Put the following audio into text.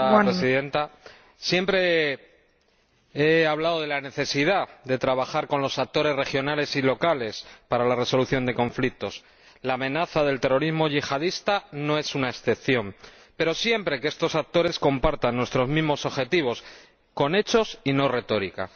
Señora Presidenta, siempre he hablado de la necesidad de trabajar con los actores regionales y locales para la resolución de conflictos —la amenaza del terrorismo yihadista no es una excepción—, pero siempre que estos actores compartan nuestros mismos objetivos con hechos y no retórica.